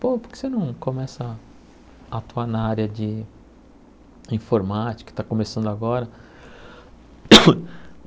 Pô, por que você não começa a atuar na área de informática que está começando agora?